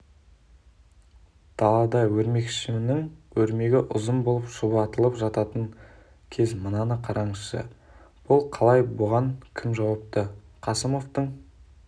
далада өрмекшінің өрмегі ұзыыын болып шұбатылып жататын кез мынаны қараңызшы бұл қалай бұған кім жауапты қасымовтың